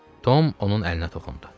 Tom onun əlinə toxundu.